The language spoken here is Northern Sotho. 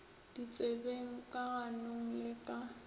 ditsebeng ka ganong le ka